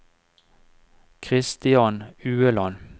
Kristian Ueland